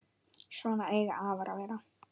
Svona eiga afar að vera.